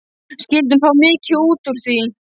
Skyldi hún fá mikið út úr því?